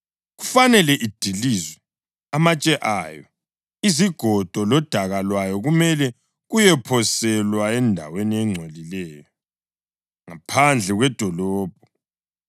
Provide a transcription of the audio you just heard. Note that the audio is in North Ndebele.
Kufanele idilizwe, amatshe ayo, izigodo, lodaka lwayo kumele kuyephoselwa endaweni engcolileyo ngaphandle kwedolobho.